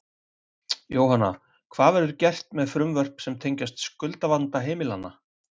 Jóhanna, hvað verður gert með frumvörp sem tengjast skuldavanda heimilanna?